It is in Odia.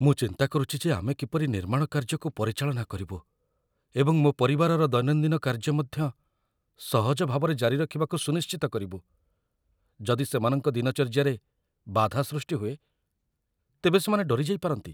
ମୁଁ ଚିନ୍ତା କରୁଛି ଯେ ଆମେ କିପରି ନିର୍ମାଣ କାର୍ଯ୍ୟକୁ ପରିଚାଳନା କରିବୁ ଏବଂ ମୋ ପରିବାରର ଦୈନନ୍ଦିନ କାର୍ଯ୍ୟ ମଧ୍ୟ ସହଜ ଭାବରେ ଜାରି ରଖିବାକୁ ସୁନିଶ୍ଚିତ କରିବୁ। ଯଦି ସେମାନଙ୍କ ଦିନଚର୍ଯ୍ୟାରେ ବାଧା ସୃଷ୍ଟି ହୁଏ, ତେବେ ସେମାନେ ଡରି ଯାଇପାରନ୍ତି।